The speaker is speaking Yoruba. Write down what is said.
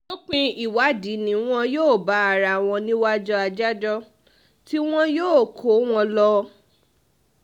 lópin ìwádìí ni wọn yóò bá ara wọn níwájú adájọ́ tí um wọn yóò kó wọn lọ um